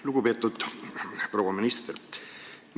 Lugupeetud proua minister!